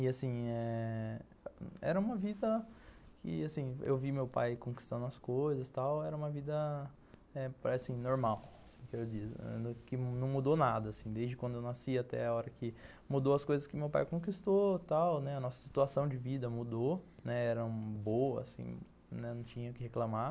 E, assim, eh... era uma vida que, assim, eu vi meu pai conquistando as coisas e tal, era uma vida, eh... assim, normal, assim que eu digo, que não mudou nada, assim, desde quando eu nasci até a hora que mudou as coisas que meu pai conquistou e tal, né, a nossa situação de vida mudou, né, eram boas, assim, né, não tinha o que reclamar.